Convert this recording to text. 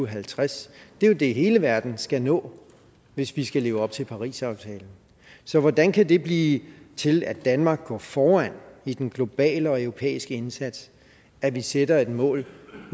halvtreds det jo det hele verden skal nå hvis vi skal leve op til parisaftalen så hvordan kan det blive til at danmark går foran i den globale og europæiske indsats at vi sætter et mål